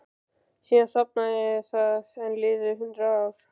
Síðan sofnaði það og enn liðu hundrað ár.